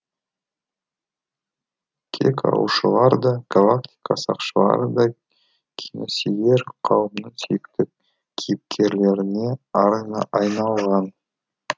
кек алушылар да галактика сақшылары да киносүйер қауымның сүйікті кейіпкерлеріне айналған